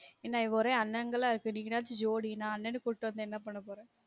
என்ன ஒரே அண்ணன் ங்கலா இருக்கு நீங்கலாச்சு jodi நான் அண்ணன கூட்டு வந்து என்ன பண்ணப்போறன்